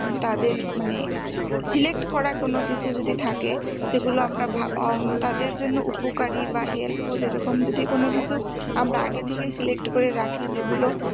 তাদের মানে select করা কোনোকিছু যদি থাকে সেগুলো আমরা ভা~ উম তাদের জন্যও উপকারি বা helpful এরকম যদি কোনো কিছু আমরা আগে থেকেও select করে রাখি যেগুলো